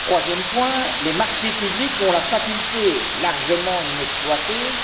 Troisième point, les marchés publics ont la faculté largement inexploitée